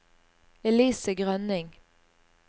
Elise Grønning